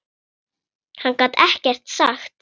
Hann gat ekkert sagt.